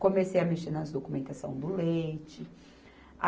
Comecei a mexer nas documentações do leite.